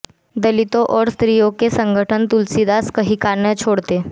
दलितों और स्त्रियों के संगठन तुलसीदास को कहीं का न छोड़ते